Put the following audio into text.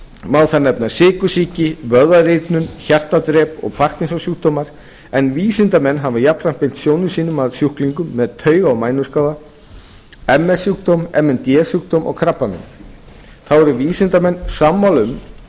má þar nefna sykursýki vöðvarýrnun hjartadrep og parkinsionssjúkdóma en vísindamenn hafa jafnframt beint sjónum sínum að sjúklingum með tauga og mænuskaða ms sjúkdóm m n d sjúkdóm og krabbamein þá eru vísindamenn sammála um